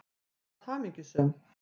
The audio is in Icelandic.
Þú varst hamingjusöm.